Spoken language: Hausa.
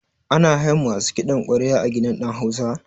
Ana hayan masu kiɗan ƙwarya a gidan ɗan hausa?